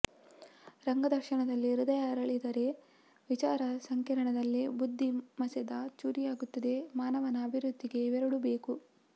ರಂಗ ದರ್ಶನದಲ್ಲಿ ಹೃದಯ ಅರಳಿದರೆ ವಿಚಾರ ಸಂಕಿರಣದಲ್ಲಿ ಬುದ್ಧಿ ಮಸೆದ ಚೂರಿಯಾಗುತ್ತದೆ ಮಾನವನ ಅಭಿವೃದ್ಧಿಗೆ ಇವೆರಡೂ ಬೇಕು